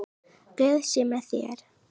Guð sé með þér.